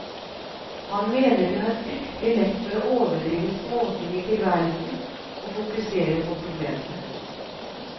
Han mener vi har fryktelig lett for å overdrive småting i tilværelsen og fokusere på problemene.